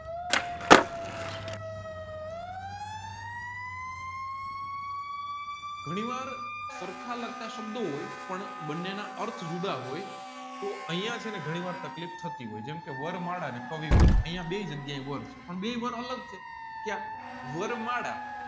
ઘણી વાર સરખા લાગતા સાંભળો હોય પણ બંનેના અર્થ જુદા હોય તોહ અહીંયા છેને ઘણી વાર તકલીફ હોય જેમકે વાર માદા ને કવિ વાર અહીંયા બેઈ જગ્યા એ વાર છે પણ બેઈ વાર અલગ છે ક્યાં વરમાળા